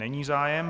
Není zájem.